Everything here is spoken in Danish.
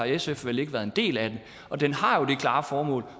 sf vel ikke været en del af den og den har jo det klare formål